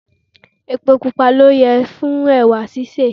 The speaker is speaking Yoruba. Epo pupa ló yẹ fún ẹwà sísè.